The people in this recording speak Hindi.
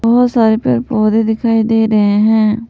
बहुत सारे पे पौधे दिखाई दे रहे हैं।